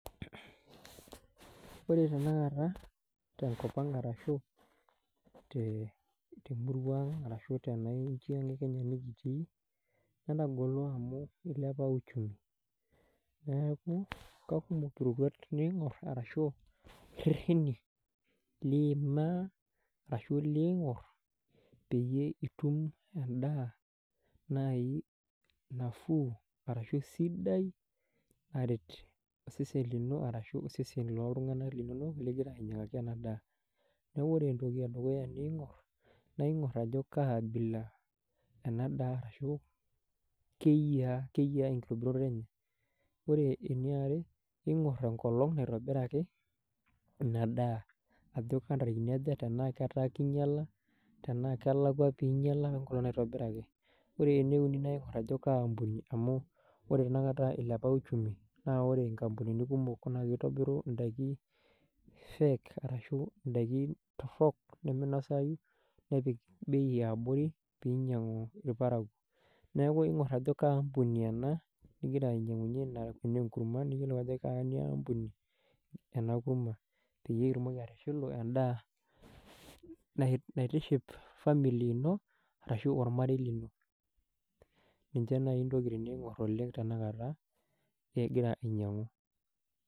Wore tenakata tenkop ang' arashu temurua ang' arashu tena inchiang e kenya nikitii, netagolo amu ilepa uchumi, neeku kekumok iroruat niingor arashu irrereni liimaa arashu liingor peyie itum endaa nai nafuu, arashu sidai naret osesen lino arashu osesen lootunganak linonok likira ainyiangaki ena daa. Neeku wore entoki edukuya niingor, naa ingor ajo kaabila ena daa arashu, keyia enkitobirata enye, wore eniare, ingor enkolong' naitobiraki ina daa ajo kentarikini aja, enaa ketaa kinyiala, tenaa kelakwa pii inyiala enkolong naitobiraki. Wore ene uni naa ingor ajo kaampuni amu wore tenakata ilepa uchumi naa wore inkampunini kumok naa kitobiru indaikin fake arashu indaikin torrok niminasayu, nepik bei eeabori piinyiangu ilparakuo. Neeku ingor ajo kaampuni ena, nikira ainyiangunye inia kurma niyiolou ajo kenia aampuni, ena kurma. Peyie itumoki atishilu endaa naitiship family ino ashu olmarei lino. Ninche naii intokitin niingor oleng' tenakata, ikira ainyiangu.